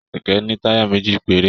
Kẹkẹ ní taya méjì péré.